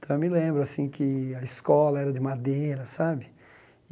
Então, eu me lembro assim que a escola era de madeira, sabe?